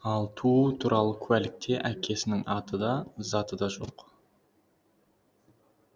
ал туу туралы куәлікте әкесінің аты да заты да жоқ